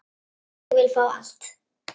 Ég vil fá allt.